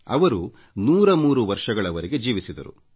ಅವರು 103 ವರ್ಷಗಳವರೆಗೆ ಜೀವಿಸಿದರು